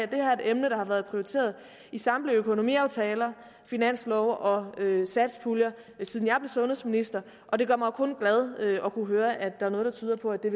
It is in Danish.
det her er et emne der har været prioriteret i samtlige økonomiaftaler finanslove og satspuljer siden jeg blev sundhedsminister og det gør mig kun jo glad at kunne høre at noget tyder på at det